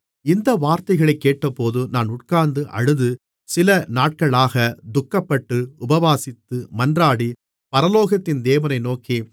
இந்த வார்த்தைகளைக் கேட்டபோது நான் உட்கார்ந்து அழுது சில நாட்களாகத் துக்கப்பட்டு உபவாசித்து மன்றாடி பரலோகத்தின் தேவனை நோக்கி